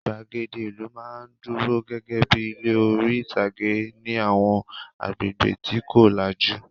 Ìgbàgede ìlú máa ń dúró gẹ́gẹ́ bí i ilé orí-ìtàgé ní àwọn agbègbè tí kò lajú.